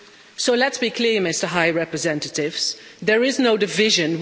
So let's be clear, Mr High Representative, there is no division.